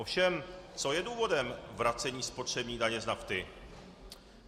Ovšem, co je důvodem vracení spotřební daně z nafty?